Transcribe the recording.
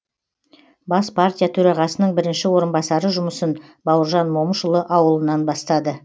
бас партия төрағасының бірінші орынбасары жұмысын бауыржан момышұлы ауылынан бастады